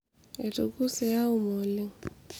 etukuse Auma oleng